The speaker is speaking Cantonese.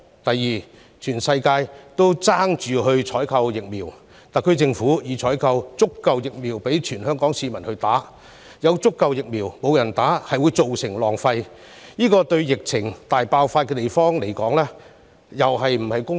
其次，當全世界都爭相採購疫苗時，特區政府已採購足夠疫苗供全港市民接種，但有足夠疫苗卻沒有人接種，造成浪費，這對疫情大爆發的地方來說又是否公平？